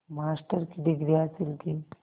master की degree हासिल की